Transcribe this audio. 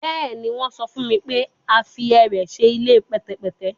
Bẹẹni, wọn sọ fun mi pe a fi ẹrẹ ṣe ile pẹtẹpẹtẹ